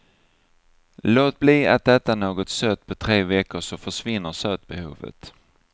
Låt bli att äta något sött på tre veckor så försvinner sötbehovet.